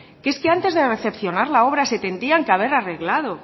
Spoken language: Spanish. que es que antes de recepcionar la obra se tendrían que haber arreglado